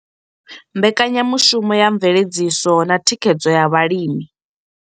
Mbekanyamushumo ya mveledziso na thikhedzo ya vhalimi.